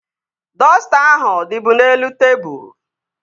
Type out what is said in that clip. Dọsta ahụ dịbu n'elu tebụl